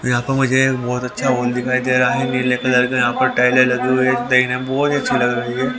यहां पर मुझे एक बहोत अच्छा वॉल दिखाई दे रहा है नीले कलर का यहां पे टाइलें लगी हुई है टाइलें बहोत अच्छी लग रही है।